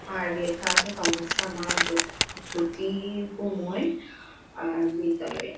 আর লেখা আছে তমোসা মা জ্যো- জ্যোতি-র গোময় আর বিদ্যালয়টি ।